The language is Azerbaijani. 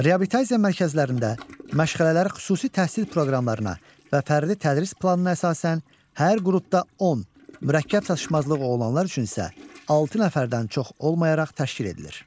Reabilitasiya mərkəzlərində məşğələlər xüsusi təhsil proqramlarına və fərdi tədris planına əsasən hər qrupda 10, mürəkkəb çatışmazlığı olanlar üçün isə 6 nəfərdən çox olmayaraq təşkil edilir.